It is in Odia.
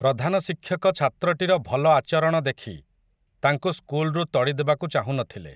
ପ୍ରଧାନ ଶିକ୍ଷକ ଛାତ୍ରଟିର ଭଲ ଆଚରଣ ଦେଖି, ତାଙ୍କୁ ସ୍କୁଲ୍‌ରୁ ତଡ଼ିଦେବାକୁ ଚାହୁଁନଥିଲେ ।